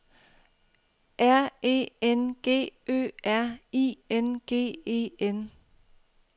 R E N G Ø R I N G E N